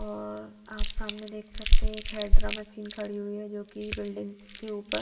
और आप सामने देख सकते है एक हैेड्रा मशीन खड़ी हुई हैं जोकि बिल्डिंग्स के ऊपर--